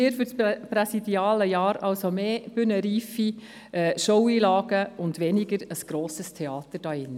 Für das präsidiale Jahr wünschen wir Ihnen mehr bühnenreife Show-Einlagen und ein weniger grosses Theater hier drin.